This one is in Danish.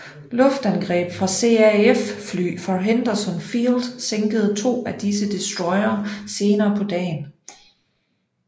Luftangreb fra CAF fly fra Henderson Field sænkede to af disse destroyere senere på dagen